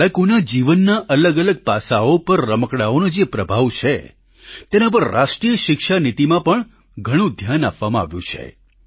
બાળકોના જીવનના અલગઅલગ પાસાંઓ પર રમકડાંઓનો જે પ્રભાવ છે તેના પર રાષ્ટ્રિય શિક્ષા નીતિમાં પણ ઘણું ધ્યાન આપવામાં આવ્યું છે